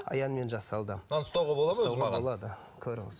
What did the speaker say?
аянмен жасалды мынаны ұстауға болады болады көріңіз